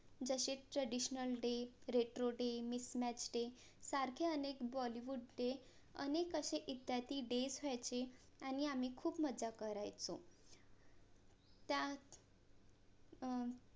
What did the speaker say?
जसे TRADITIONAL DAY, RETRO DAY, MIDNIGHT STAY सारखे अनेक BOLLYWOOD DAY अनेक असे इत्यादी डेज व्हायचे आणि आम्ही खूप मज्जा करायचो त्यात अं